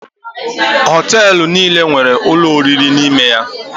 Hoteelu niile nwere ụlọ oriri n’ime ya